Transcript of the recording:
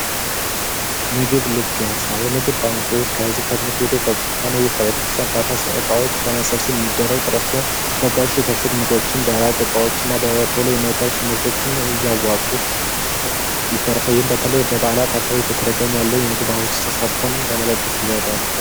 ምግብ ልገሳ የምግብ ባንኮች ከሕዝብ ከቤተክርስቲያን እቃዎች በመሰብሰብ የሚደረግ ጥረት ሲሆን፤ ለጋሽ የታሸጉ ምግቦችን ደረቅ እቃዎችን በቶሎ የማይበላሹ ምርቶችን እያወጡ ፤ በተለይ በበዓላት አካባቢ በተደጋጋሚ ያለውን የምግብ ተሳትፎም በመደገፍ ይረዳል።